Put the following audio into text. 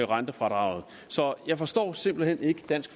rentefradraget så jeg forstår simpelt hen ikke dansk